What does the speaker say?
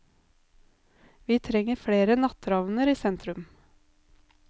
Vi trenger flere natteravner i sentrum.